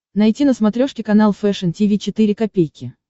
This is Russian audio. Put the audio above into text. найти на смотрешке канал фэшн ти ви четыре ка